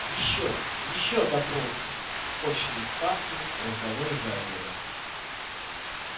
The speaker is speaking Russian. ещё ещё допросы очные ставки разговоры за обедом